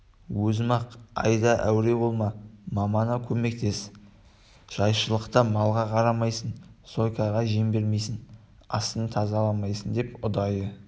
өзім-ақ айда әуре болма мамаңа көмектес жайшылықта малға қарамайсың зойкаға жем бермейсің астын тазаламайсың деп ұдайы